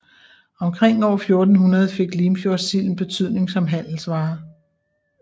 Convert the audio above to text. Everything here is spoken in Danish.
Omkring år 1400 fik Limfjordssilden betydning som handelsvare